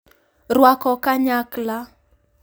Rwako kanyakla